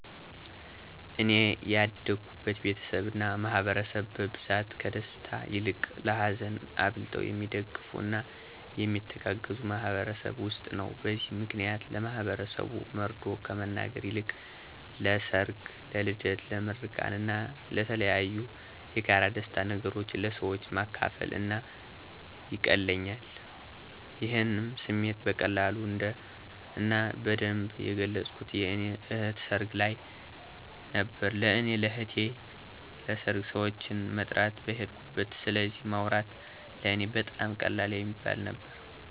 እኔ ያደኩበት ቤተሰብ እና ማህበረሰብ በብዛት ከደስታ ይልቅ ለሀዘን አብልጠው የሚደጋገፉ እና የሚተጋገዙ ማህበረሰብ ውስጥ ነው። በዚህ ምክንያት ለማህበረሰቡ መርዶ ከመናገር ይልቅ ለሰር፣ ለልደት፣ ለምርቃን እና የተለያዬ የጋራ የደስታ ነገሮችን ለሰወች ማካፈል ለእኔ ይቀለኛል። ይሄንም ስሜቴ በቀላሉ እና በደንብ የገለፅኩት የእኔ እህት ሰርግ ልይ ነበረ። ለእኔ ለእህቴን ሰርግ ሰወችን መጥራት በሄድኩበት ስለዚ ማውራት ለእኔ በጣም ቀላል የሚባል ነበረ።